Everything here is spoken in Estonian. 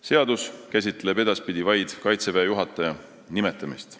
Seadus käsitleb edaspidi vaid Kaitseväe juhataja nimetamist.